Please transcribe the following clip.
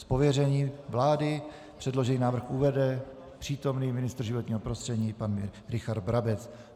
Z pověření vlády předložený návrh uvede přítomný ministr životního prostředí pan Richard Brabec.